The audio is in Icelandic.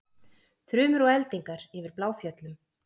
Þrumur og eldingar yfir Bláfjöllum